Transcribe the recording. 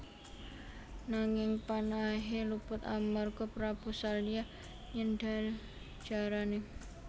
Nanging panahé luput amarga Prabu Salya nyendhal jarané